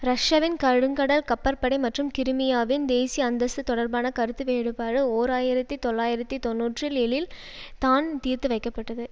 ரஷ்யாவின் கருங்கடல் கப்பற்படை மற்றும் கிரிமியாவின் தேசிய அந்தஸ்து தொடர்பான கருத்து வேறுபாடு ஓர் ஆயிரத்தி தொள்ளாயிரத்தி தொன்னூற்றில் ஏழில் தான் தீர்த்து வைக்கப்பட்டது